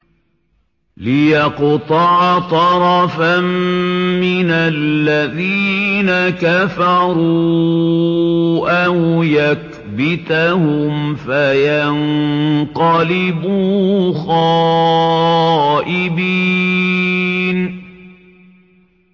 لِيَقْطَعَ طَرَفًا مِّنَ الَّذِينَ كَفَرُوا أَوْ يَكْبِتَهُمْ فَيَنقَلِبُوا خَائِبِينَ